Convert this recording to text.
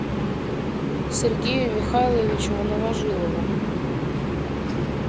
сергею михайловичу новожилову